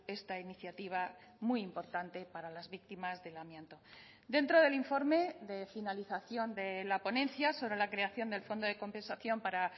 esta iniciativa muy importante para las víctimas del amianto dentro del informe de finalización de la ponencia sobre la creación del fondo de compensación para